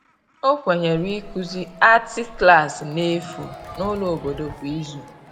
ọ Kwenyere ikuzi arti Klassi n'efu n'ulo obodo kwa ịzụ